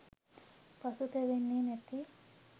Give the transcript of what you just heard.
පසුතැවෙන්නෙ නැති